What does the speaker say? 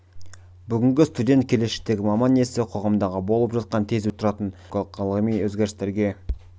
бүгінгі студент келешектегі маман иесі қоғамдағы болып жатқан тез өзгеріп тұратын әлеуметтік экономикалық педагогикалық ғылыми өзгерістерге